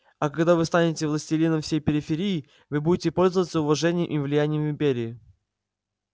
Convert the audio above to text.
а когда вы станете властелином всей периферии вы будете пользоваться уважением и влиянием в империи